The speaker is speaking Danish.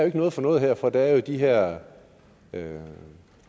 ikke noget for noget her for der er jo de her